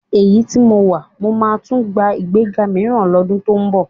Èyí tí mo wà, mó máa tún gba ìgbéga mìíràn lọ́dún tó ń bọ̀